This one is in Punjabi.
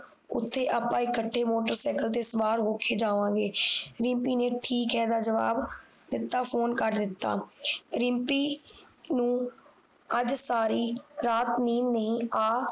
ਓਥੇ ਅੱਪਾ ਇਕੱਠੇ ਮੋਟਰਸਾਈਕਲ ਤੇ ਸਵਾਰ ਹੋਕੇ ਜਾਵਾਂਗੇ ਰਿਮਪੀ ਨੇ ਠੀਕ ਹੈ ਦਾ ਜਵਾਬ ਦਿੱਤਾ ਫੋਨ ਕੱਟ ਦਿੱਤਾ ਰਿਮਪੀ ਨੂੰ ਅੱਜ ਸਾਰੀ ਰਾਤ ਨੀਂਦ ਨਹੀਂ ਆ